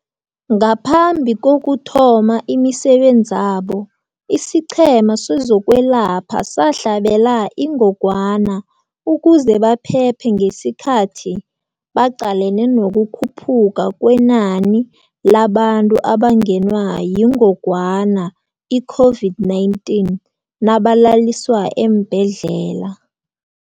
Ngaphambi kokuthoma imisebenzabo, isiQhema sezokweLapha sahlabela ingogwana ukuze baphephe ngesikhathi baqalene nokukhuphuka kwenani labantu abangenwa yingog wana i-COVID-19 nabalaliswa eembhedlela.